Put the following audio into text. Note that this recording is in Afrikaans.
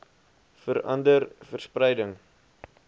vera nder verspreiding